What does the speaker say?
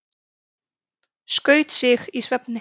Skaut sig í svefni